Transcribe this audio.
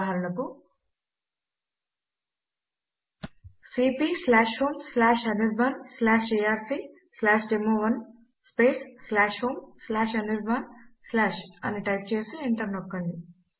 ఉదాహరణకు cp homeanirbanarcdemo1 homeanirban అని type చేసి ఎంటర్ నొక్కండి